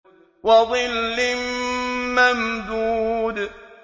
وَظِلٍّ مَّمْدُودٍ